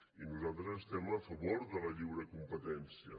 i nosaltres estem a favor de la lliure competència